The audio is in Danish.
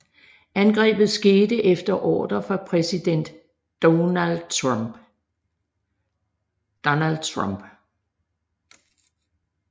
Angrebet skete efter ordre fra præsident Donald Trump